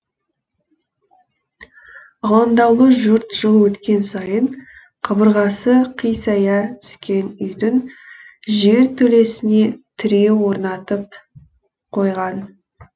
алаңдаулы жұрт жыл өткен сайын қабырғасы қисая түскен үйдің жертөлесіне тіреу орнатып қойған